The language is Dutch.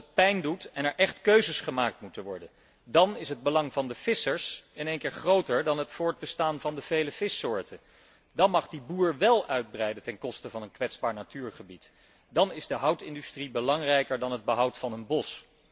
Als het pijn doet en er echt keuzes gemaakt moeten worden, dan is het belang van de vissers in één keer groter dan het voortbestaan van de vele vissoorten, dan mag die boer wél uitbreiden ten koste van een kwetsbaar natuurgebied, dan is de houtindustrie belangrijker dan het behoud van een bos.